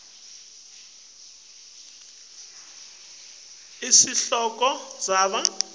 letsite lesekela sihloko